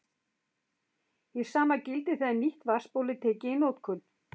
Hið sama gildir þegar nýtt vatnsból er tekið í notkun.